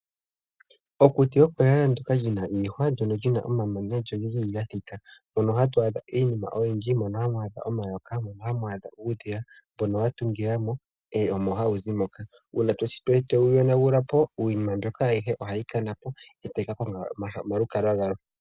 Mokuti oko ehala lina iihwa, lyoo olina omamanya, lyo olili lyathita, omo hamwaadhika, uudhila, nomayoka, shampa kwayonagulwa po iinamwenyo mbika oha yiyi kulwe.